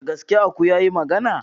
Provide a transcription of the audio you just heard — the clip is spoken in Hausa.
Da gaske aku yayi magana?